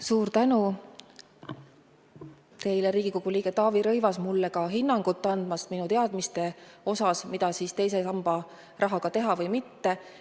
Suur tänu teile, Riigikogu liige Taavi Rõivas, andmast hinnangut minu teadmistele, mida teise samba rahaga teha!